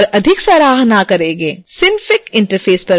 synfig interface पर वापस आते हैं